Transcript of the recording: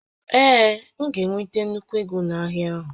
Ee, m ga-enweta nnukwu égo na-ahịa a